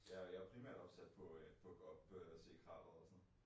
Ja jeg jo primært opsat på øh på at gå op øh og se krateret og sådan